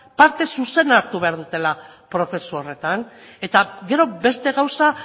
parte zuzena hartu behar dutela prozesu horretan eta gero beste gauza